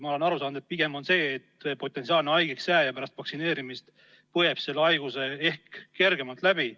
Ma olen aru saanud, et vaktsineerima pigem peaks selleks, et potentsiaalne haigeks jääja pärast vaktsineerimist põeb selle haiguse ehk kergemalt läbi.